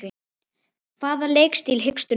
Hvaða leikstíl hyggstu nota?